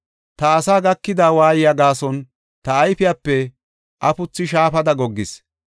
Ta asaa gakida waayiya gaason ta ayfepe afuthu shaafada goggees.